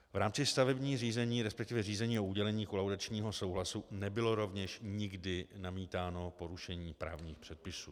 V rámci stavebních řízení, respektive řízení o udělení kolaudačního souhlasu, nebylo rovněž nikdy namítáno porušení právních předpisů.